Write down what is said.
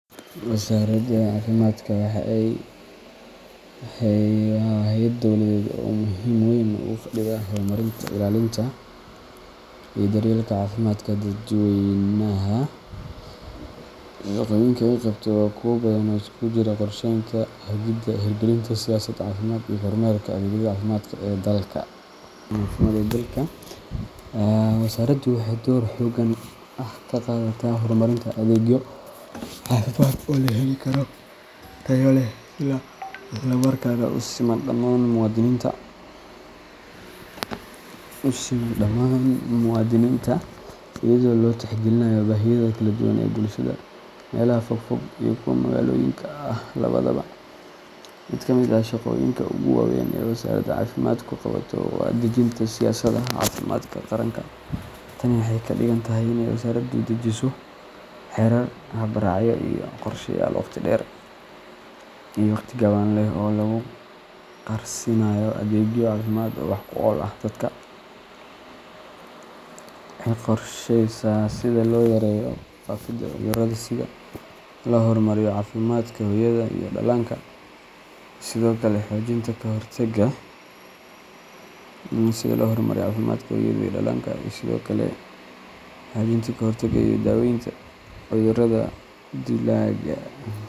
Wasaaradda caafimaadka waa hay’ad dawladeed oo muhiimad weyn ugu fadhida horumarinta, ilaalinta, iyo daryeelka caafimaadka dadweynaha. Shaqooyinka ay qabato waa kuwo badan oo isugu jira qorsheynta, hagidda, hirgelinta siyaasadaha caafimaad, iyo kormeerka adeegyada caafimaad ee dalka. Wasaaraddu waxay door hoggaan ah ka qaadataa horumarinta adeegyo caafimaad oo la heli karo, tayo leh, isla markaana u siman dhammaan muwaadiniinta, iyadoo la tixgelinayo baahiyaha kala duwan ee bulshada, meelaha fogfog iyo kuwa magaalooyinka ah labadaba. Mid ka mid ah shaqooyinka ugu waaweyn ee wasaaradda caafimaadku qabato waa dejinta siyaasadaha caafimaadka qaranka. Tani waxay ka dhigan tahay inay wasaaraddu dejiso xeerar, hab-raacyo, iyo qorshayaal waqti dheer iyo waqti gaaban leh oo lagu gaarsiinayo adeegyo caafimaad oo wax-ku-ool ah dadka. Waxay qorshaysaa sida loo yareeyo faafidda cudurrada, sida loo horumariyo caafimaadka hooyada iyo dhallaanka, iyo sidoo kale xoojinta ka hortagga iyo daaweynta cudurrada dilaaga.